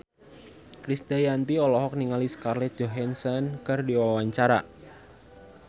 Krisdayanti olohok ningali Scarlett Johansson keur diwawancara